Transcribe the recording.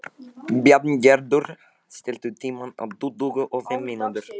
Bjarngerður, stilltu tímamælinn á tuttugu og fimm mínútur.